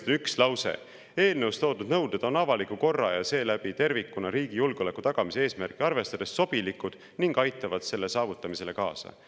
Põhimõtteliselt on seal üks lause, et eelnõus toodud nõuded on avaliku korra ja seeläbi tervikuna riigi julgeoleku tagamise eesmärki arvestades sobilikud ning aitavad selle saavutamisele kaasa.